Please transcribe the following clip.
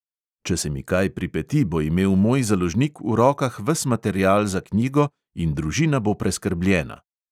Če se mi kaj pripeti, bo imel moj založnik v rokah ves material za knjigo in družina bo preskrbljena.